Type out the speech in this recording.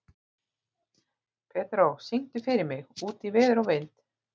Pedró, syngdu fyrir mig „Út í veður og vind“.